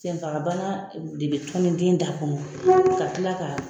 Senfagabana de bɛ tɔnni den da kɔnɔ ka tila ka.